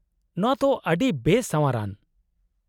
-ᱱᱚᱶᱟ ᱛᱚ ᱟᱹᱰᱤ ᱵᱮᱼᱥᱟᱶᱟᱨ ᱟᱱ ᱾